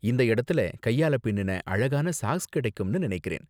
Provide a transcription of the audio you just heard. இந்த இடத்துல கையால பின்னுன அழகான சாக்ஸ் கிடைக்கும்னு நினைக்கிறேன்.